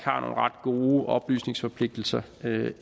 gode oplysningsforpligtelser